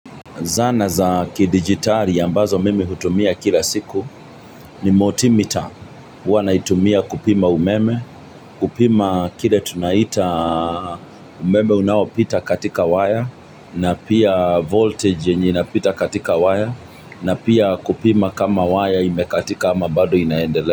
Zana za kidigitari ambazo mimi hutumia kila siku ni motimita huwa naitumia kupima umeme, kupima kile tunaita umeme unaoapita katika waya na pia voltage yenye inapita katika waya na pia kupima kama waya imekatika ama bado inaendele.